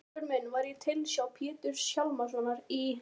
Garpur minn var í tilsjá Péturs Hjálmssonar í